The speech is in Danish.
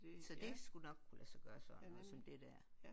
Så det skulle nok kunne lade sig gøre sådan noget som det der